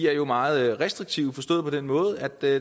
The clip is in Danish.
er meget restriktive forstået på den måde at der